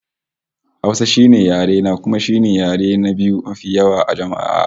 Hausa shine yare na, kuma shine yare na biyu mafi yawan jama'a a Afirka